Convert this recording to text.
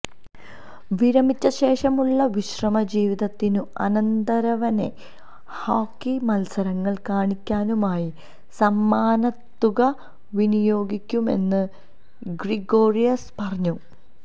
വിരമിച്ച ശേഷമുള്ള വിശ്രമജീവിതത്തിനും അനന്തരവനെ ഹോക്കി മത്സരങ്ങള് കാണിക്കാനുമായി സമ്മാനത്തുക വിനിയോഗിക്കുമെന്ന് ഗ്രിഗോറിയസ് പറഞ്ഞു